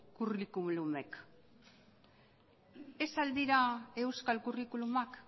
curriculumek ez al dira euskal curriculumak